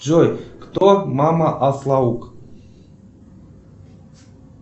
джой кто мама аслаук